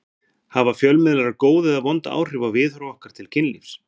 Hafa fjölmiðlar góð eða vond áhrif á viðhorf okkar til kynlífs?